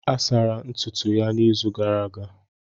A sara ntutu ya n'izu gara aga.